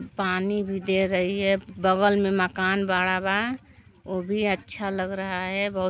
पानी भी दे रही है बगल मे मकान बड़ा बा वो भी अच्छा लग रहा है बहुत --